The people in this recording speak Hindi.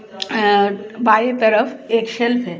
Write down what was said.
अ बाई तरफ एक सेल्फ हैं.